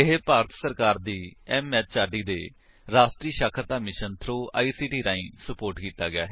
ਇਹ ਭਾਰਤ ਸਰਕਾਰ ਦੀ ਐਮਐਚਆਰਡੀ ਦੇ ਰਾਸ਼ਟਰੀ ਸਾਖਰਤਾ ਮਿਸ਼ਨ ਥ੍ਰੋ ਆਈਸੀਟੀ ਰਾਹੀਂ ਸੁਪੋਰਟ ਕੀਤਾ ਗਿਆ ਹੈ